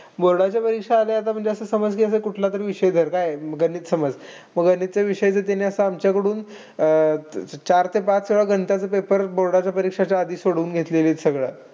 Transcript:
Board च्या परीक्षा आलं आता असं समाज की कुठलातरी विषय धर काय, आता गणित समज. मग आता गणितच विषयाचं आता त्यांनी आमच्याकडून अह चार ते पाच वेळा गणिताचं paper board च्या परीक्षेचा आधी सोडवून घेतलेलं सगळं.